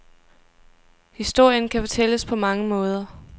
Historien kan fortælles på mange måder.